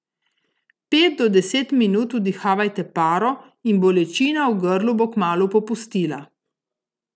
Pet do deset minut vdihavajte paro in bolečina v grlu bo kmalu popustila.